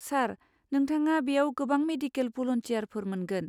सार, नोंथाङा बेयाव गोबां मेडिकेल भलुन्टियारफोर मोनगोन।